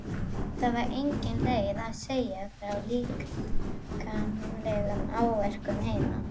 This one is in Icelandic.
Það var engin leið að segja frá líkamlegum áverkum heima.